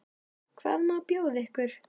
Hvað má bjóða ykkur?